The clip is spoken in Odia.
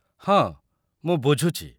ହଁ, ମୁଁ ବୁଝୁଚି।